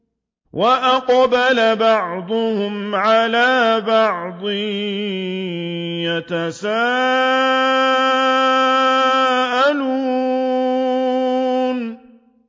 وَأَقْبَلَ بَعْضُهُمْ عَلَىٰ بَعْضٍ يَتَسَاءَلُونَ